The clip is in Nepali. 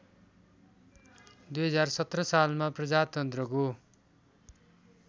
२०१७ सालमा प्रजातन्त्रको